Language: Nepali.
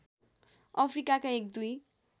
अफ्रिका एक दुई